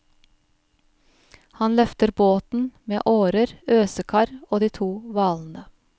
Han løfter båten, med årer, øsekar, og de to hvalene.